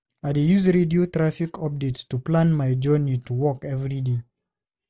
I dey use radio traffic updates to plan my journey to work every day.